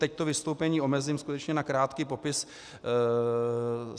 Teď to vystoupení omezím skutečně na krátký popis.